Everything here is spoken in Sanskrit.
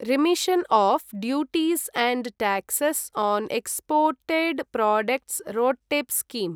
remission of duties and taxes on exported products RoDTEP scheme